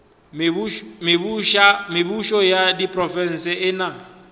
mebušo ya diprofense e na